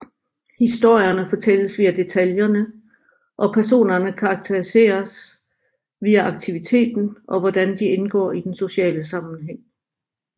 Historierne fortælles via detaillerne og personerne karakteriseres via aktiviteten og hvordan de indgår i den sociale sammenhæng